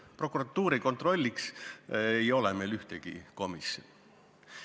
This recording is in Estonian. Prokuratuuri kontrollimiseks ei ole meil ühtegi komisjoni.